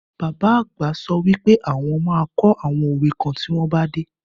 Bàbá àgbà sọ wípé àwọn ma kọ́ àwọn òwe kan tí ó bá dé